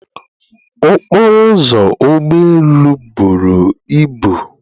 okporo ụzọ ụgbọ elu buru ibu